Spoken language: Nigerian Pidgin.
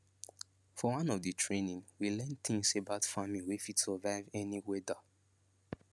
for one of di training we learn tins about farming wey fit survive any weada